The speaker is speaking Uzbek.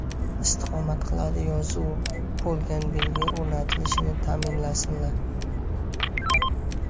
istiqomat qiladi” yozuvi bo‘lgan belgi o‘rnatilishini ta’minlasinlar.